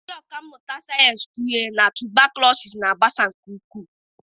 Ndị ọkà mmụta sayensị kpughere na tubaklọsị na-agbasa nke ukwuu